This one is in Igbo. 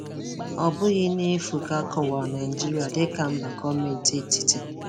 Ọ bụghị n'efu ka a kọwara ka a kọwara Naijiria dị ka mba gọọmenti etiti.